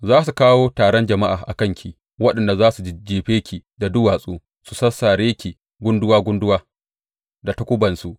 Za su kawo taron jama’a a kanki, waɗanda za su jajjefe ki da dutse su sassare ki gunduwa gunduwa da takubansu.